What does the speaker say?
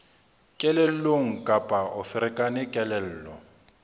kelellong kapa o ferekane kelello